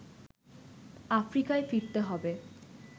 আফ্রিকায় ফিরতে হবে